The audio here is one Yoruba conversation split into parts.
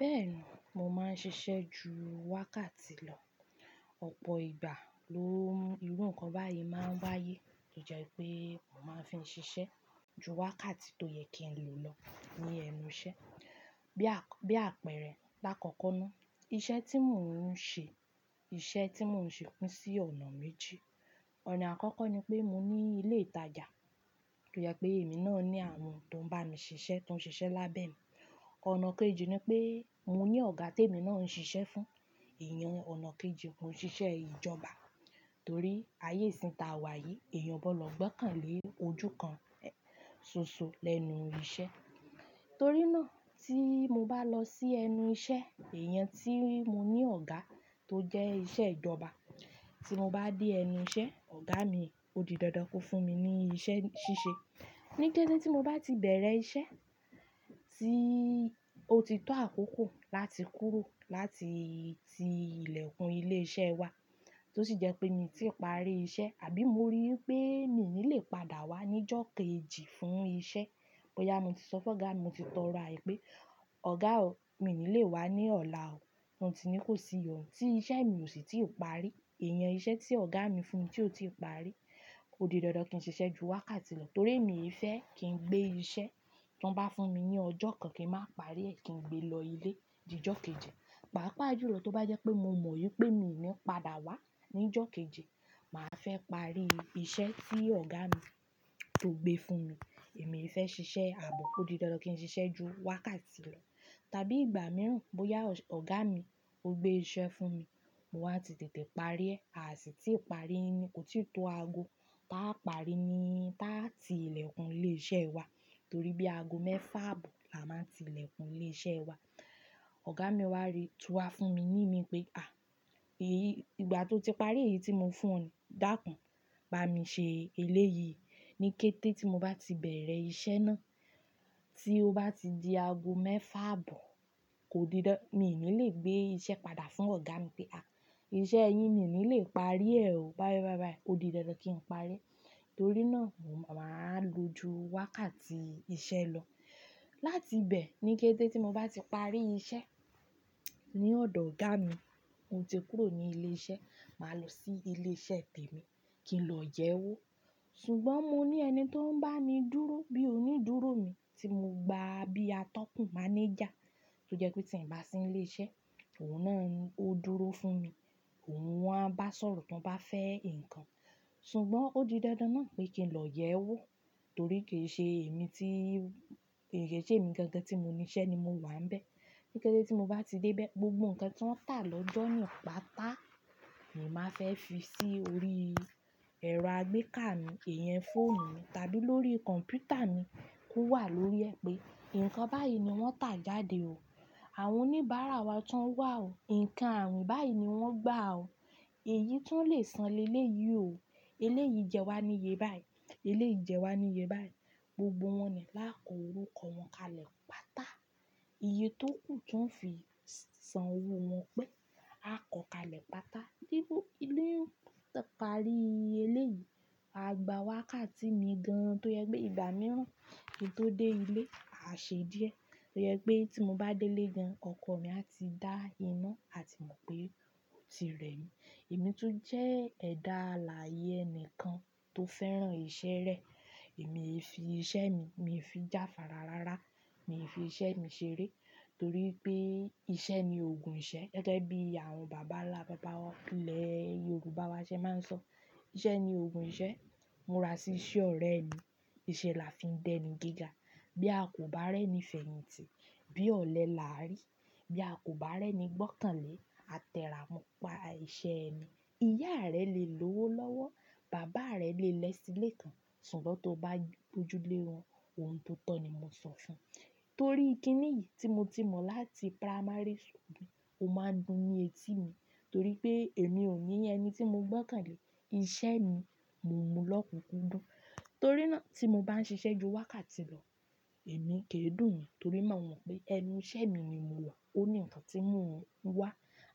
Bẹ́ẹ̀ni, mo máa ń ṣiṣẹ́ ju wákàtí lọ. Ọ̀pọ̀ ìgbà ló ń mú irú nǹkan báyìí máa ń wáyé tó jẹ́ pé mo máa ń fi ṣiṣẹ́ ju wákàtí tó yẹ kí n lọ lọ ní ẹnu iṣẹ́. Bi a Bí àpẹẹrẹ lákòókò náà, iṣẹ́ tí mò ń ṣe, iṣẹ́ tí mò ń ṣe kún sí ọ̀nà méjì. Ọ̀nà àkọ́kọ́ ni pé mo ní ilé ìtajà tó jẹ́ pé èmi náà ní àwọn tó ń bá mi ṣiṣẹ́ tó ń ṣiṣẹ́ lábẹ́ mi. Ọ̀nà kejì ni pé mo ní ọ̀gá tí èmi náà ń ṣiṣẹ́ fún. Ìyan ọ̀nà kejì, mo ń ṣiṣẹ́ ìjọba torí ayé ìsìn ta wà yìí, èèyàn ọ̀bọ l'ọ́gbọ́n kàn lè ojú kan soso lẹ́nu iṣẹ́. Torí náà tí mo bá lọ sí ẹnu iṣẹ́, iyẹn tí mo ní ọ̀gá tó jẹ́ iṣẹ́ ìjọba, tí mo bá dé ẹnu iṣẹ́, ọ̀gá mi ó di dandan ko fún mi ní iṣẹ́ ṣíṣe. Ni kété tí mo bá ti bẹ̀rẹ̀ iṣẹ́ tí ó ti tó àkókò láti kúrò láti ti ilẹ̀kùn ilé iṣẹ́ wa tó sì jẹ́ pé mi tí parí iṣẹ́ àbí mo rí pé mi ní lè padà wá ní ọjọ́ kejì fún iṣẹ́, bóyá mo ti sọ fún ọ̀gá mi, mo ti tọrọ àye pé, "Ọ̀gá o, mi ní lè wá ní ọ̀la o." Ọ́ ti ní kó si iyọnu tí iṣẹ́ mi ò sì tí parí. Ìyẹn iṣẹ́ tí ọ̀gá mi fún mi tí ò ti parí, ó di dandan kí n ṣiṣẹ́ ju wákàtí lọ torí mii fẹ́ kí n gbé iṣẹ́ tọn bá fún mi ní ọjọ́ kan kí n máa parí ẹ kí n gbé lọ ilé di ọjọ́ kejì. Pàápàá júlọ tó bá jẹ́ pé mo mọ wípé mi ní padà wá ní ọjọ́ kejì, màá fẹ́ parí iṣẹ́ tí ọ̀gá mi tó gbé fún mi. È mi i fẹ́ ṣiṣẹ́ àbọ̀, ó di dandan kí n ṣiṣẹ́ ju wákàtí lọ tàbí ìgbà mìíràn. Bóyá ọ̀gá mi ó gbé iṣẹ́ fún mi, mo wáa ti tètè parí ẹ, àa sì tí ì parí ni kò tí to ago. Tá a parí ní táà tí ilẹ̀kùn ilé iṣẹ́ wa torí bí ago mẹ́fà àbọ̀ la máa ń ti ilẹ̀kùn ilé iṣẹ́ wa. Ọ̀gá mi wá rí, tú wá fún mi, ní mi pé, "À, èyí ìgbà tó ti parí èyí tí mo fún ọ dákún, bá mi ṣe eléyìí." Ni kété tí mo bá ti bẹ̀rẹ̀ iṣẹ́ náà tí ó bá ti di ago mẹ́fà àbọ̀, kò di dan, mi i ní lè gbé iṣẹ́ padà fún ọ̀gá mi pé, "À, iṣẹ́ yìí mi i ní lè parí ẹ o." Báyìí, báyìí, báyìí, ó di dandan kí n parí. Torí náà mo máa lo ju wákàtí iṣẹ́ lọ. Láti bẹ́ẹ̀ ni kété tí mo bá ti parí iṣẹ́ ní ọ̀dọ̀ ọ̀gá mi, mo ti kúrò ní ilé iṣẹ́, màá lọ sí ilé iṣẹ́ tèmi kí n lọ yẹ́ wọ́. Ṣùgbọ́n mo ní ẹni tó ń bá mi dúró bí onídúró mi tí mo gba bíi atọ́kùn mánéjà tó jẹ́ pé tí ń bá sí ilé iṣẹ́ òun náà ó dúró fún mi. Òun wọn á bá sọ̀rọ̀ tó bá fẹ́ nǹkan. Ṣùgbọ́n ó di dandan náà pé kí n lọ yẹ́ wọ́ torí kì í ṣe èmi tí, kì í ṣe èmi gẹ́gẹ́ tí mo ní iṣẹ́ ni mo wà n bẹ̀. Ni kété tí mo bá ti dé bẹ̀, gbogbo nǹkan tí wọ́n tà lọ́jọ́ naa patá, mi má fẹ́ fi sí orí ẹ̀rọ àgbéká mi, èèyàn fóònù mi tàbí lórí kọ̀mpútà mi kó wà lórí ẹ pé, "Nǹkan báyìí ni wọ́n tà jáde o. Àwọn oníbàárà wa tun wà o. Ǹkan ààwin báyìí ni wọ́n gbà o. Èyí ti wọn lè san lé lé yìí o. Eléyìí jẹ wá níye báyìí. Eléyìí jẹ wá níye báyìí." Gbogbo wọn ni láàkọ orúkọ wọn kalẹ̀ pátá. Iye tó kù tí wọ́n fi sanwó wọn pé, a kọ kalẹ̀ pátá. Bí mo parí eléyìí, a gba wákàtí mi gan tó jẹ́ pé ìgbà mìíràn kí n tó dé ilé, a ṣe díẹ̀. Ó jẹ́ pé tí mo bá dé ilé gan, ọkọ mi a ti dá iná àti mọ̀ pé ó ti rẹ́ mi. Èmi tún jẹ́ ẹ̀dá alààyè ẹnìkan tó fẹ́ràn iṣẹ́ rẹ̀. Èmi i fi iṣẹ́ mi, mi fi jáfàrá rárá, mi fi iṣẹ́ mi ṣeré torí pé iṣẹ́ ni òògùn ìṣẹ́ gẹ́gẹ́ bí àwọn bàbá ńlá bàbá ilẹ̀ Yorùbá wa ṣe máa ń sọ. Iṣẹ́ ni òògùn ìṣẹ́. "Múra sí iṣẹ́ ọ̀rẹ́ mi. Iṣẹ́ la fi ń dẹni gíga. Bí a kò bá rẹ́ni fèyìntì, bí ọ̀lẹ là á rí. Bí a kò bá rẹ́ni gbọ́kànlé, a tẹ́ra mọ pa iṣẹ́ ẹ ni. Ìyá rẹ le lówó lọ́wọ́, bàbá rẹ le lẹ́sìle kán, ṣùgbọ́n tó bá gbojúlé wọn, ohun tó tọ́ ni mo sọ fún. Torí kíni yìí tí mo ti mọ̀ láti pramárì skul ó máa ń dùn ni etí mi torí pé èmi ò ní ẹni tí mo gbọ́kànlé. Iṣẹ́ mi mo mú lọ́kùúkú dùn. Torí náà tí mo bá ń ṣiṣẹ́ ju wákàtí lọ, èmi kì í dùn mí torí mo mọ̀ wípé ẹnu iṣẹ́ mi ni mo wà. Ó ní ǹkan tí ń mo oun wà.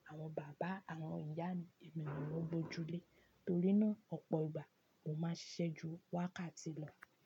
Àwọn bàbá, àwọn ìyá mi, èmi ni wọn gbóju lé. Torí náà ọ̀pọ̀ ìgbà mo máa ń ṣiṣẹ́ ju wákàtí lọ.